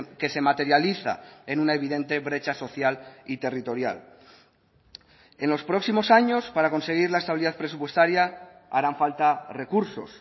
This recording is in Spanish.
que se materializa en una evidente brecha social y territorial en los próximos años para conseguir la estabilidad presupuestaria harán falta recursos